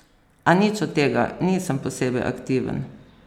A nič od tega: "Nisem posebej aktiven.